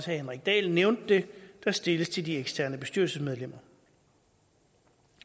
henrik dahl nævnte det der stilles til de eksterne bestyrelsesmedlemmer